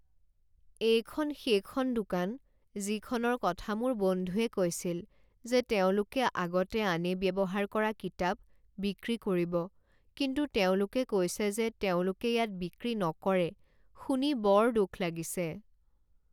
এইখন সেইখন দোকান যিখনৰ কথা মোৰ বন্ধুৱে কৈছিল যে তেওঁলোকে আগতে আনে ব্যৱহাৰ কৰা কিতাপ বিক্ৰী কৰিব কিন্তু তেওঁলোকে কৈছে যে তেওঁলোকে ইয়াত বিক্ৰী নকৰে। শুনি বৰ দুখ লাগিছে।